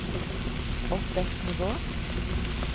opp ett nivå